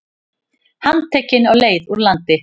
Handtekinn á leið úr landi